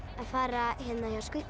að fara hjá